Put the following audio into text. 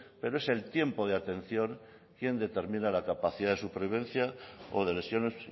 pero es el tiempo de atención quien determina la capacidad de supervivencia o de lesiones